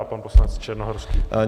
A pan poslanec Černohorský.